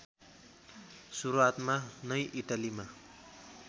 सुरुवातमा नै इटालीमा